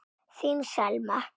Þín Selma.